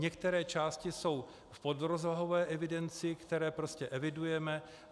Některé části jsou v podrozvahové evidenci, které prostě evidujeme.